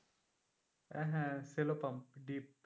আহ হ্যাঁ cello pump deep.